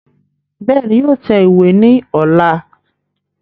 Bẹ́ẹ̀ni, yóò tẹ ìwé ní ọ̀la